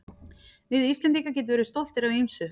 Við Íslendingar getum verið stoltir af ýmsu.